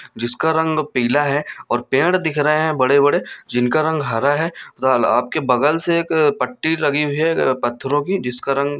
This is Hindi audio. जिसका रंग पीला है और पेड़ दिख रहे है बड़े-बड़े जिनका रंग हरा है आपके बगल से एक पट्टी लगी हुई है पत्थरों की जिसका रंग --